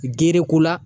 Gere ko la